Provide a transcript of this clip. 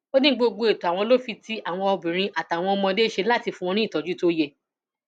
ó ní gbogbo ètò àwọn ló fi ti àwọn obìnrin àtàwọn ọmọdé ṣe láti fún wọn ní ìtọjú tó yẹ